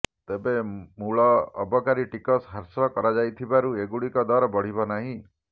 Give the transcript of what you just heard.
ତେବେ ମୂଳ ଅବକାରୀ ଟିକସ ହ୍ରାସ କରାଯାଇଥିବାରୁ ଏଗୁଡ଼ିକର ଦର ବଢ଼ିବ ନାହିଁ